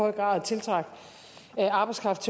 er parat til